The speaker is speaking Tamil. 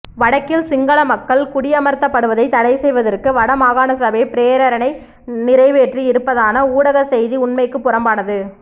வடக்கில் சிங்கள மக்கள் குடியமர்த்தப்படுவதை தடை செய்வதற்கு வடமாகாண சபை பிரேரணை நிறைவேற்றி இருப்பதான ஊடக செய்தி உண்மைக்கு புறம்பானது